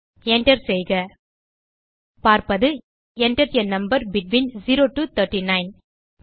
Enter செய்க பார்ப்பது Enter ஆ நம்பர் பெட்வீன் 0 டோ 39